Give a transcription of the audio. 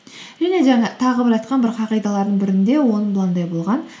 және жаңа тағы бір айтқан бір қағидаларының бірінде болған